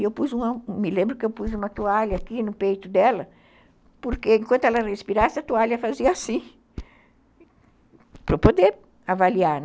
E eu pus uma, me lembro que eu pus uma toalha aqui no peito dela, porque enquanto ela respirasse a toalha fazia assim, para eu poder avaliar, né?